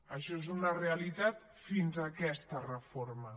això és una realitat fins a aquesta reforma